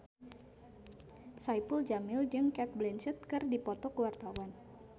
Saipul Jamil jeung Cate Blanchett keur dipoto ku wartawan